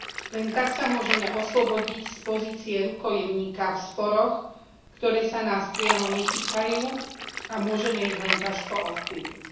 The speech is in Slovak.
Len tak sa môžeme oslobodiť z pozície rukojemníka v sporoch, ktoré sa nás priamo netýkajú a môžeme ich len ťažko ovplyvniť.